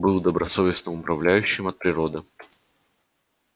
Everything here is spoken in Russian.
был добросовестным управляющим от природы